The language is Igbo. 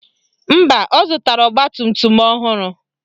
Mba, ọ zụtara ọgbatumtum ọhụrụ